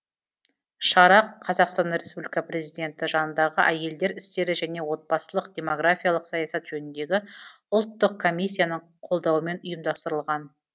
шара қазақстан республика президенті жанындағы әйелдер істері және отбасылық демографиялық саясат жөніндегі ұлттық комиссияның қолдауымен ұйымдастырылған